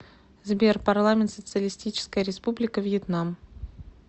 сбер парламент социалистическая республика вьетнам